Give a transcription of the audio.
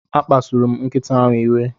A kpasuru m nkịta ahụ iwe.